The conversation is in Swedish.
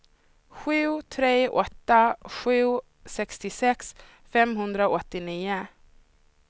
sju tre åtta sju sextiosex femhundraåttionio